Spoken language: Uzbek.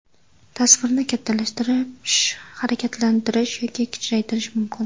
Tasvirni kattalashtirish, harakatlantirish yoki kichraytirish mumkin.